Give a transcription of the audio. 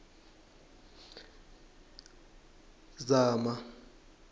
zama